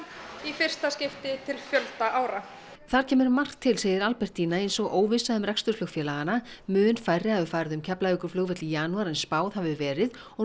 í fyrsta skipti til fjölda ára þar kemur margt til segir Albertína eins og óvissa um rekstur flugfélaganna mun færri hafi farið um Keflavíkurflugvöll í janúar en spáð hafi verið og